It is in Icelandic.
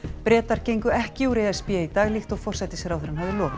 Bretar gengu ekki úr e s b í dag líkt og forsætisráðherrann hafði lofað